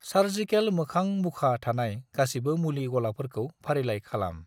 Surgical मोखां मुखा थानाय गासिबो मुलि गलाफोरखौ फारिलाइ खालाम।